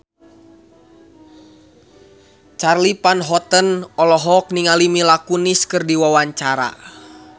Charly Van Houten olohok ningali Mila Kunis keur diwawancara